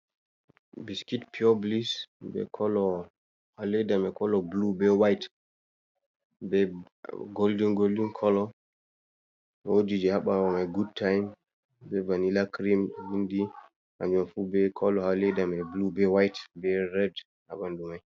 "Bisiit piyoo bilis" bee "kolo" ha leeda may "kolo buluu" bee "waayit" bee "goldin-goldin kolo". Woodi jey ha ɓaawo may "gud taayim" bee "vanilaa crim" ɗo vinndi hannjum fuu bee "kolo" ha leeda may "buluu" be "waayit" bee "red" ha ɓanndu may.